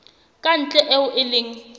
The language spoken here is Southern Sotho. ka ntle eo e leng